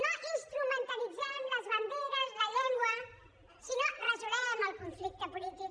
no instrumentalitzem les banderes la llengua sinó que resolguem el conflicte polític